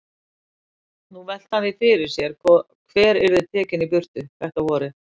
Nú velti hann því fyrir sér hver yrði tekinn í burtu þetta vorið.